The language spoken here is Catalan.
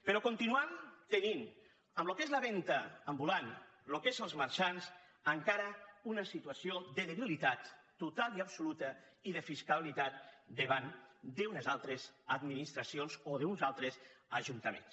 però continuem tenint en el que és la venda ambulant en el que és els marxants encara una situació de debilitat total i absoluta i de fiscalitat davant d’unes altres administracions o d’uns altres ajuntaments